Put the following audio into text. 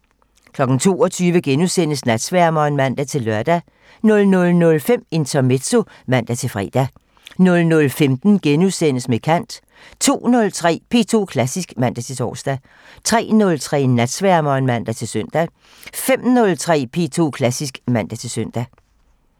22:00: Natsværmeren *(man-lør) 00:05: Intermezzo (man-fre) 00:15: Med kant * 02:03: P2 Klassisk (man-tor) 03:03: Natsværmeren (man-søn) 05:03: P2 Klassisk (man-søn)